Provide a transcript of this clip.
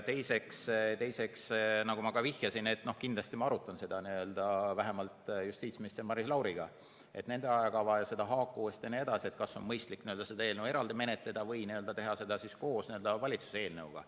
Teiseks, nagu ma vihjasin, kindlasti ma arutan seda vähemalt justiitsminister Maris Lauriga, nende ajakava, seda haakuvust jne, et kas on mõistlik seda eelnõu eraldi menetleda või teha seda koos valitsuse eelnõuga.